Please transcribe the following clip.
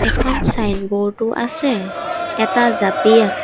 এখন ছাইনবোৰ্ড ও আছে এটা জাপি আছে।